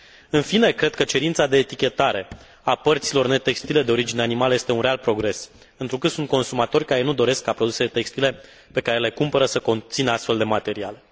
În fine, cred că cerința de etichetare a părților netextile de origine animală este un real progres, întrucât sunt consumatori care nu doresc ca produsele textile pe care le cumpără să conțină astfel de materiale.